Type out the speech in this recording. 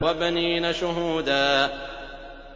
وَبَنِينَ شُهُودًا